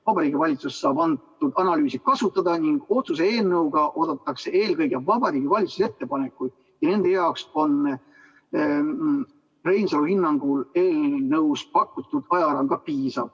Vabariigi Valitsus saab antud analüüsi kasutada ning otsuse eelnõuga oodatakse eelkõige Vabariigi Valitsuse ettepanekuid ja nende jaoks on Reinsalu hinnangul eelnõus pakutud ajaraam ka piisav.